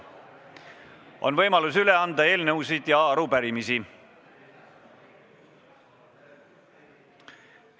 On võimalik anda üle eelnõusid ja arupärimisi.